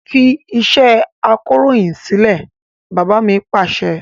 Fi iṣẹ́ akọròyìn sílẹ̀! Bàbá mi Pàṣẹ.